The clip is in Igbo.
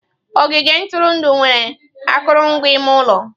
Ogige ntụrụndụ nwere akụrụngwa ime ụlọ.